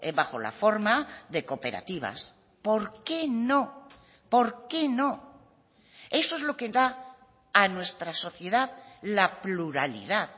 bajo la forma de cooperativas por qué no por qué no eso es lo que da a nuestra sociedad la pluralidad